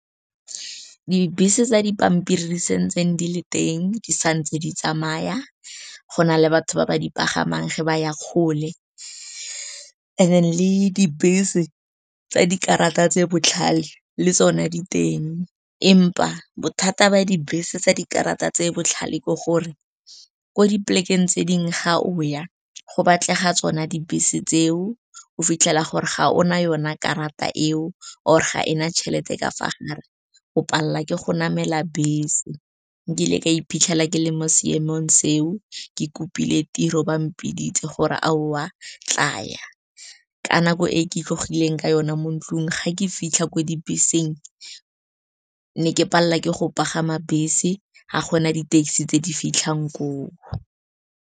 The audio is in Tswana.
Dibese tsa dipampiri di sentse di le teng, di santse di tsamaya, go na le batho ba ba di pagamang ge ba ya kgole, and le dibese tsa dikarata tse botlhale le tsone diteng. Empa bothata ba dibese tsa dikarata tse botlhale ke gore ko di plek-e g tse dingwe ga o ya go batlega tsona dibese tseo, o fitlhela gore ga ona yona karata eo, or ga ena tšhelete ka fa gare, o palelwa ke go namela bese. Nkile ka iphitlhela ke le mo seemong seo, ke kopile tiro, ba mpiditse gore aowa, tlaya. Ka nako e ke tlogileng ka yona mo ntlong, ga ke fitlha ko dibeseng, ne ke palelwa ke go pagama bese, ga gona di taxi tse di fitlhang koo.